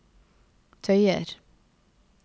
tøyer